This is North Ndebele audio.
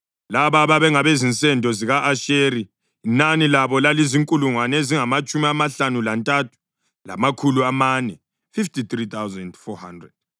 Laba babengabezinsendo zika-Asheri; inani labo lalizinkulungwane ezingamatshumi amahlanu lantathu, lamakhulu amane (53,400).